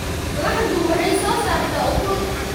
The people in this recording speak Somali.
Laxdu waxay soo saartaa ukun.